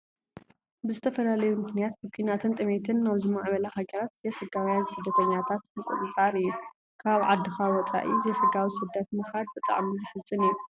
ብዝተፈላለዩ ምክንያት ብኩናትን ጥምየትን ናብ ዝማዕበላ ሃገራት ዘይሕጋውያን ስደተኛታት ምቁፅፃር እዩ። ካብ ዓድካ ወፂኢካ ዘይሕጋዊ ስደት ምካድ ብጣዕሚ ዝሕዝን እዩ ።